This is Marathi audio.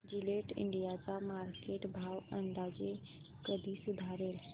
जिलेट इंडिया चा मार्केट भाव अंदाजे कधी सुधारेल